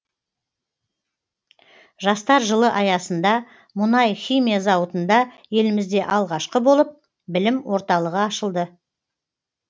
жастар жылы аясында мұнай химия зауытында елімізде алғашқы болып білім орталығы ашылды